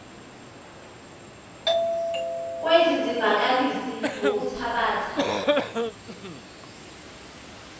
kwezi zivakalisi ngokuthabatha